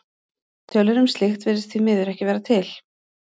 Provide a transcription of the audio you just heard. Tölur um slíkt virðast því miður ekki vera til.